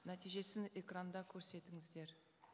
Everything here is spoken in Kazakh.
нәтижесін экранда көрсетіңіздер